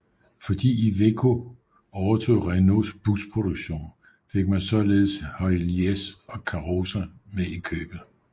Fordi Iveco overtog Renaults busproduktion fik man således Heuliez og Karosa med i købet